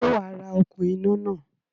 Sé wàá ra okún iná náà?